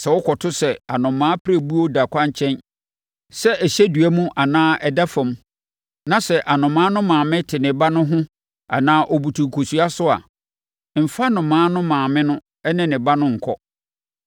Sɛ wokɔto sɛ anomaa pirebuo da ɛkwankyɛn, sɛ ɛhyɛ dua mu anaa ɛda fam na sɛ anomaa no maame te ne ba no ho anaa ɔbutu nkosua so a, mfa anomaa no maame ne ne ba no nkɔ.